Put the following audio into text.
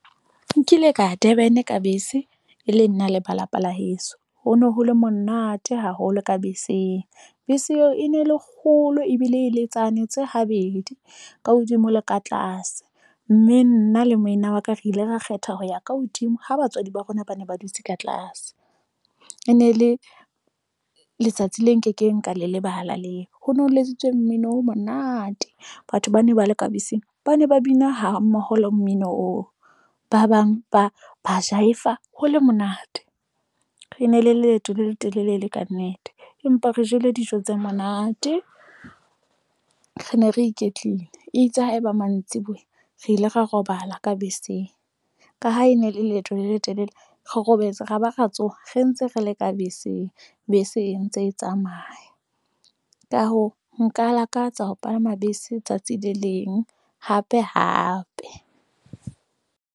Nkile ka ya Durban-e ka bese, e le nna le ba lapa la heso. Ho no ho le monate haholo ka beseng. Bese eo e ne le kgolo ebile e le tsane tse habedi, ka hodimo le ka tlase. Mme nna le moena wa ka, re ile ra kgetha ho ya ka hodimo. Ha batswadi ba rona ba ne ba dutse ka tlase. E ne le letsatsi le nkekeng, ka le lebala leo ho no ho letsitswe mmino o monate. Batho ba ne ba le ka beseng, ba ne ba bina hammoho le mmino oo. Ba bang ba ba jaiva ho le monate. E ne le leeto le le telele e le kannete, empa re jele dijo tse monate. Re ne re iketlile, eitse ha e ba mantsiboya re ile ra robala ka beseng. Ka ha e ne le leeto le le telele, re robetse ra ba ra tsoha re ntse re le ka beseng, bese e ntse e tsamaya. Ka hoo, nka lakatsa ho palama bese tsatsi le leng hape hape.